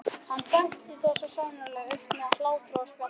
Hann bætti það svo sannarlega upp með hlátri og spjalli.